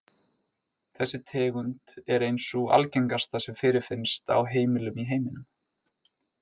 Þessi tegund er ein sú algengasta sem fyrirfinnst á heimilum í heiminum.